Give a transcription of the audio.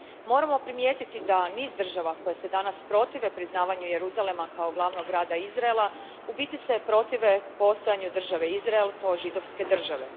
Moramo primijetiti da se niz država koje se danas protive priznavanju Jeruzalema kao glavnog grada Izraela u biti protive postojanju države Izrael kao židovske države.